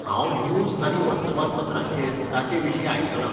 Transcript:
हांव न्यूज आनी वर्तमानपत्रांचेर ताचेविशीं आयकलां.